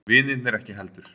Vinirnir ekki heldur.